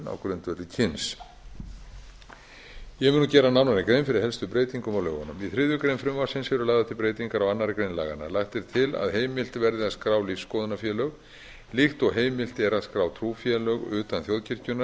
á grundvelli kyns ég mun nú gera nánari grein fyrir helstu breytingum á lögunum í þriðju greinar frumvarpsins eru lagðar til breytingar á annarri grein laganna lagt er til að heimilt verði að skrá lífsskoðunarfélög líkt og heimilt er að skrá trúfélög utan þjóðkirkjunnar